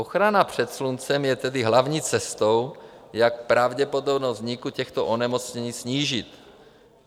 Ochrana před sluncem je tedy hlavní cestou, jak pravděpodobnost vzniku těchto onemocnění snížit.